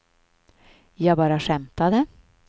jag bara skämtade